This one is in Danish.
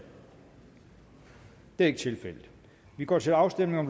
det er ikke tilfældet vi går til afstemning